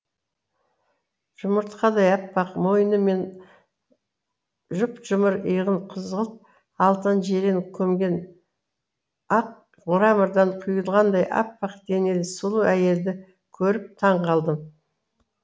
жұмыртқадай аппақ мойны мен жұп жұмыр иығын қызғылт алтын жирен көмген ақ мрамордан құйылғандай аппақ денелі сұлу әйелді көріп таң қалдым